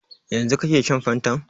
Yanzu kake shan fantan?